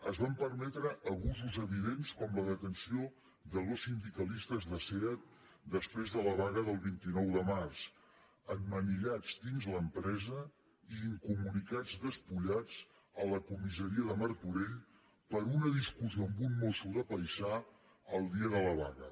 es van permetre abusos evidents com la detenció de dos sindicalistes de seat després de la vaga del vint nou de març emmanillats dins l’empresa i inco·municats despullats a la comissaria de martorell per una discussió amb un mosso de paisà el dia de la vaga